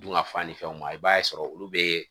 Dunkafa ni fɛnw ma i b'a sɔrɔ olu bɛ